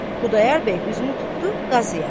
Xudayar bəy üzünü tutdu Qazıya.